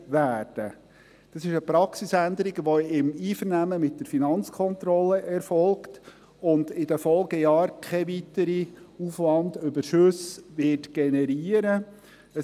Dies ist eine Praxisänderung, die im Einvernehmen mit der Finanzkontrolle erfolgt und in den Folgejahren keine weiteren Aufwandüberschüsse generieren wird.